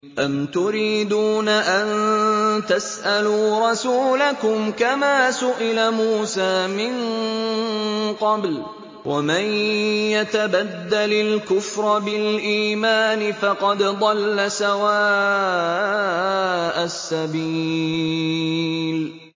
أَمْ تُرِيدُونَ أَن تَسْأَلُوا رَسُولَكُمْ كَمَا سُئِلَ مُوسَىٰ مِن قَبْلُ ۗ وَمَن يَتَبَدَّلِ الْكُفْرَ بِالْإِيمَانِ فَقَدْ ضَلَّ سَوَاءَ السَّبِيلِ